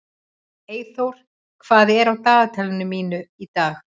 Eyþór, hvað er á dagatalinu mínu í dag?